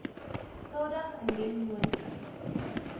stig indien moontlik